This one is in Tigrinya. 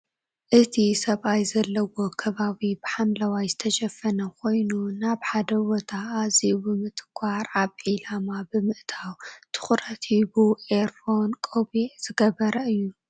እቱይ ሰብኣይ ዘለዎ ከባቢ ብሓምለዋይ ዝተሸፈና ኮይኑ ናብ ሓደ ቦታ ኣዝዩ ብምትኮር ኣብ ዒላማ ብምእታው ትኩረት ሂቡ ኤርፎን ፣ቆቢዕን ዝገበረ እዩ ።